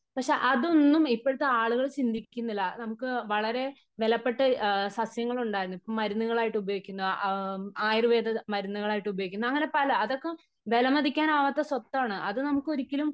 പക്ഷേ അതൊന്നും ഇപ്പോഴത്തെ ആളുകൾ ചിന്തിക്കുന്നില്ല. നമുക്ക് വളരെ വിലപ്പെട്ട സസ്യങ്ങൾ ഉണ്ടായിരുന്നു. ഇപ്പോ മരുന്നുകളായിട്ട് ഉപയോഗിക്കുന്ന ആയുർവേദ മരുന്നുകളായിട്ട് ഉപയോഗിക്കുന്ന അങ്ങനെ പല അതൊക്കെ വിലമതിക്കാനാകാത്ത സ്വത്താണ് അത് നമുക്ക് ഒരിക്കലും